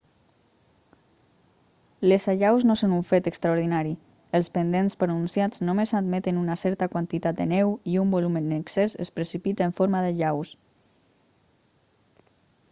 les allaus no són un fet extraordinari els pendents pronunciats només admeten una certa quantitat de neu i un volum en excés es precipita en forma d'allaus